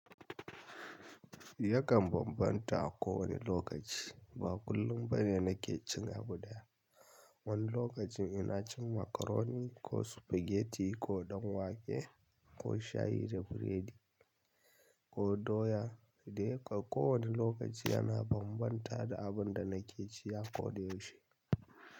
Ya kan bambanta a kowane lokaci. Ba kullum bane na ke cin abu ɗaya. Wani lokacin ina cin macaroni ko spaghetti ko ɗan wake ko shayi da biredi ko doya. Dai kam kowane lokaci yana bambanta da abin da na ke ci a ko da yaushe.